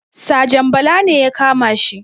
Sajan bala ne ya kamashi